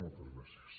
moltes gràcies